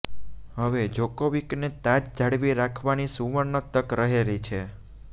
હવે જોકોવિકને તાજ જાળવી રાખવાની સુવર્ણ તક રહેલી છે